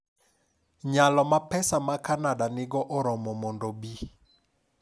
Nyalo ma pesa ma Kanada nigo oromo mondo obi